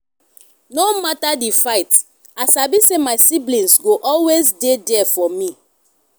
no matter di fight i sabi say my siblings go always dey there for me.